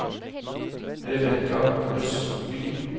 Rebecca Østby